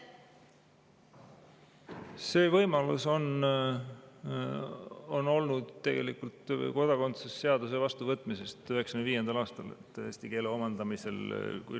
See võimalus on tegelikult olnud alates kodakondsuse seaduse vastuvõtmisest 1995. aastal.